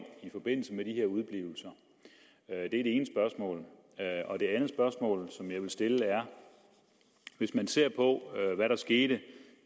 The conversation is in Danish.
i forbindelse med de her udeblivelser det er det ene spørgsmål det andet spørgsmål som jeg vil stille er hvis man ser på hvad der skete